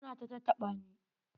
Ya na ta tattaɓa ni.